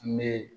N bɛ